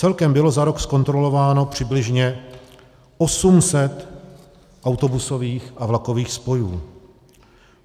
Celkem bylo za rok zkontrolováno přibližně 800 autobusových a vlakových spojů.